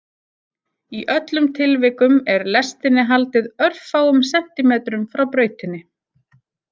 Í öllum tilvikum er lestinni haldið örfáum sentímetrum frá brautinni.